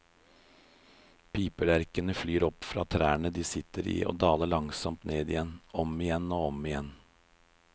Piplerkene flyr opp fra trærne de sitter i, og daler langsomt ned igjen, om igjen og om igjen.